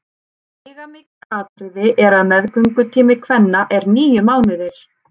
Veigamikið atriði er að meðgöngutími kvenna er níu mánuðir.